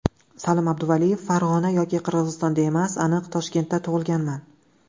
Salim Abduvaliyev: Farg‘ona yoki Qirg‘izistonda emas, aniq Toshkentda tug‘ilganman.